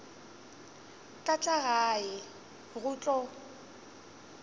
tla tla gae go tlo